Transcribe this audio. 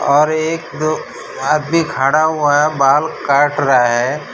और एक दो आदमी खड़ा हुआ है बाल काट रहा है।